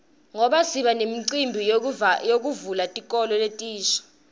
ngoba sibanemicimbi yekuvulwa kwetikolo letisha